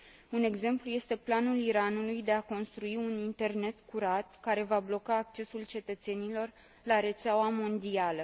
Un exemplu este planul Iranului de a construi un internet curat, care va bloca accesul cetățenilor la rețeaua mondială.